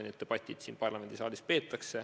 Need debatid peetakse siin parlamendisaalis.